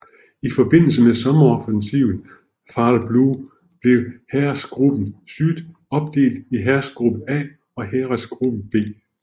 I forbindelse med sommeroffensiven Fall Blau blev Heeresgruppe Süd opdelt i Heeresgruppe A og Heeresgruppe B